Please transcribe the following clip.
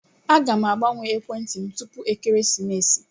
Aga m agbanwe ekwentị m tupu ekeresimesi.